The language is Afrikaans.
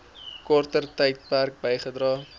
korter tydperk bygedra